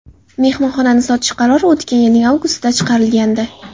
Mehmonxonani sotish qarori o‘tgan yilning avgustida chiqarilgandi.